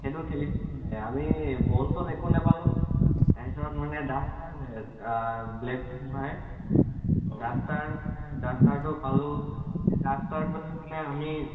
সেইটো খেলিছিলো মানে, আমি ball চল একো নাপালো। তাৰপিছত মানে duster যে black board মোহাৰে, duster মানে duster টো পালো। duster টো আমি